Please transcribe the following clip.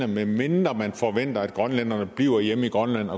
medmindre man forventer at grønlænderne bliver hjemme i grønland